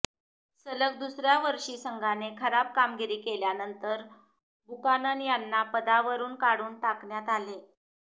सलग दुसऱ्या वर्षी संघाने खराब कामगिरी केल्यानंतर बुकानन यांना पदावरुन काढून टाकण्यात आले